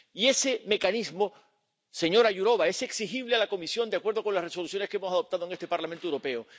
Y ese mecanismo, señora Jourová, es exigible a la Comisión, de acuerdo con las Resoluciones que hemos adoptado en este Parlamento Europeo.